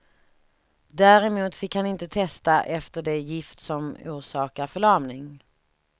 Däremot fick han inte testa efter det gift som orsakar förlamning.